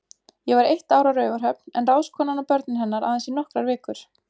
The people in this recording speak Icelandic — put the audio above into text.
Ég var eitt ár á Raufarhöfn, en ráðskonan og börnin hennar aðeins í nokkrar vikur.